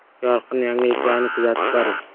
“Yorqin” yangiliklarni kuzatib boring!